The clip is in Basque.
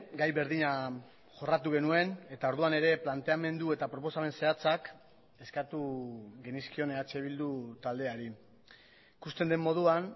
gai berdina jorratu genuen eta orduan ere planteamendu eta proposamen zehatzak eskatu genizkion eh bildu taldeari ikusten den moduan